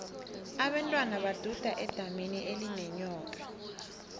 abentwana baduda edamini elinenyoka